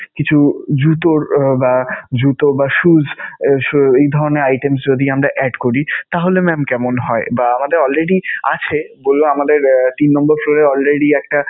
কিছু জুতোর~ জুতো বা shoes এই ধরণের items যদি আমরা add করি, তাহলে mam কেমন হয়? বা আমাদের already আছে বললো আমাদের তিন নাম্বার floor এ already একটা